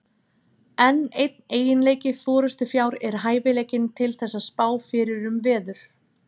Enn einn eiginleiki forystufjár er hæfileikinn til þess að spá fyrir um veður.